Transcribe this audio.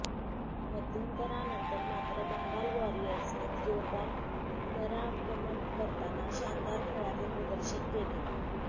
मध्यंतरानंतर मात्र बंगाल वॉरियर्सने जोरदार पुनरागमन करताना शानदार खेळाचे प्रदर्शन केले